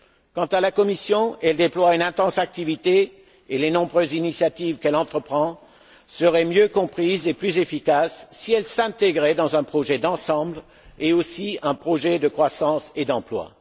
Quant à la Commission, elle déploie une intense activité et les nombreuses initiatives qu'elle entreprend seraient mieux comprises et plus efficaces si elles s'intégraient dans un projet d'ensemble, notamment dans un projet de croissance et d'emploi.